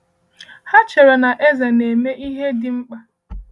Ha chere na eze na-eme ihe dị mkpa.